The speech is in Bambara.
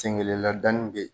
Sen kelen ladanni bɛ ye